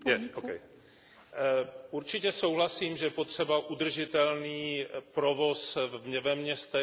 Určitě souhlasím, že je potřeba udržitelný provoz ve městech, mobilita je velmi důležitá.